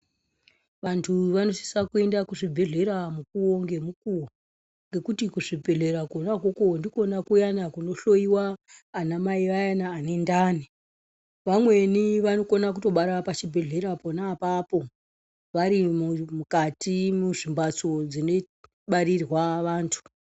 Vantu vanosisa kuenda kuzvibhehlera mukuwo ngemukuwo ngekuti kuzvibhehlera kona ikoko ndikona kuyani kunohloyiwa anamai vayani vane ndani vamweni vanokona kutobara pachibhehlera pona apapo varimukati muzvi mbatso zvinobarirwa vandu